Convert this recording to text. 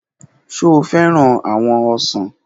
Ṣe o fẹran awọn ọsan?